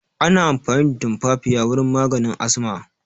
Ana amfani da tumfafiya wurin maganin asma